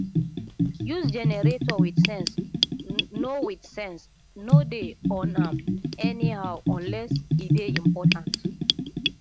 use generator wit sense no wit sense no dey on am anyhow unless e dey important